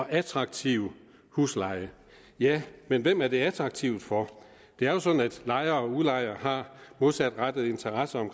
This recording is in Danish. attraktiv husleje ja men hvem er det attraktivt for det er jo sådan at lejere og udlejere har modsatrettede interesser